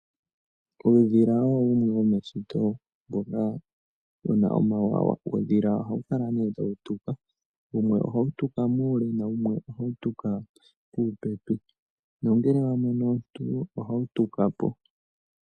Uudhila owo wumwe wo meshito mboka, wu na onawawa. Uudhila oha wu kala ne ta wu tuka. Wumwe oha wu tuka muule, na wumwe oha wu tuka puupepi, nongele wa mono omuntu, oha wu tuka po.